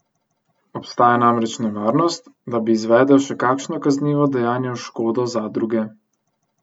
Obstaja namreč nevarnost, da bi izvedel še kakšno kaznivo dejanje v škodo zadruge.